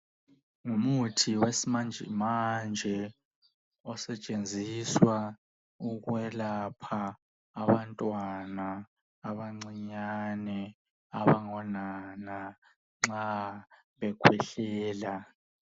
Ngumuthi wesimanje manje osetshenziswa ukwelapha abantwana abancinyane abangonana nxa bekhwehlela.